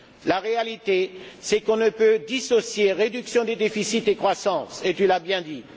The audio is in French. La réalité, c'est qu'on ne peut dissocier réduction des déficits et croissance, et tu l'as bien dit.